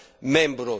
membru